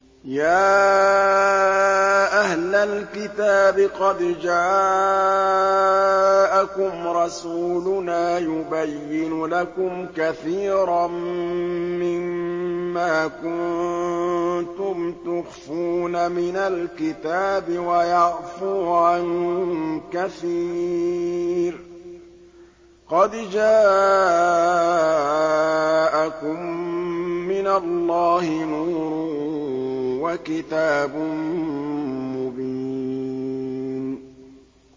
يَا أَهْلَ الْكِتَابِ قَدْ جَاءَكُمْ رَسُولُنَا يُبَيِّنُ لَكُمْ كَثِيرًا مِّمَّا كُنتُمْ تُخْفُونَ مِنَ الْكِتَابِ وَيَعْفُو عَن كَثِيرٍ ۚ قَدْ جَاءَكُم مِّنَ اللَّهِ نُورٌ وَكِتَابٌ مُّبِينٌ